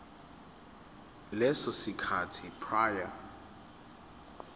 leso sikhathi prior